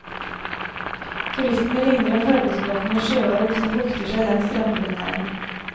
Turistene ligner en farvesprakende sjøorm som bukter seg langs strandpromenaden.